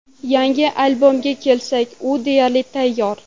Yangi albomga kelsak, u deyarli tayyor.